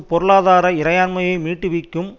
பொருளாதார இறையாண்மையை மீட்டு விக்கும்